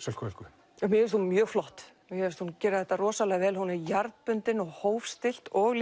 Sölku Völku mér finnst hún mjög flott mér fannst hún gera þetta rosalega vel hún er jarðbundin og hófstillt og